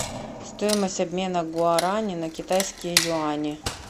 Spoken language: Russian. стоимость обмена гуарани на китайские юани